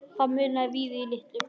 Það munaði víða litlu.